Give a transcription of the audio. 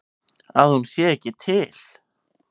Að hún sé ekki til.